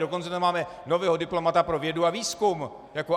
Dokonce tam máme nového diplomata pro vědu a výzkum.